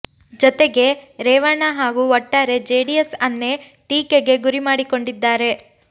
ಜೊತೆಗೆ ರೇವಣ್ಣ ಹಾಗೂ ಒಟ್ಟಾರೆ ಜೆಡಿಎಸ್ ಅನ್ನೇ ಟೀಕೆಗೆ ಗುರಿ ಮಾಡಿಕೊಂಡಿದ್ದಾರೆ